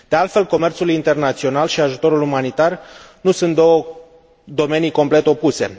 De altfel, comerțul internațional și ajutorul umanitar nu sunt două domenii complet opuse.